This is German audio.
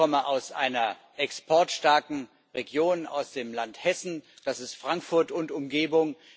Ich komme aus einer exportstarken Region, aus dem Land Hessen, das ist Frankfurt und Umgebung.